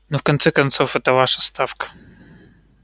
ну в конце концов эта ваша ставка